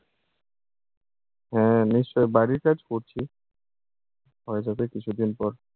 হ্যাঁ নিশ্চয়ই। বাড়ির কাজ করছি, হয়ে যাবে কিছুদিন পর।